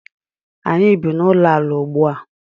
Anyị bi n’ụlọala ugbu a